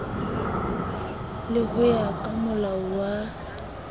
le ho ya kamolao wa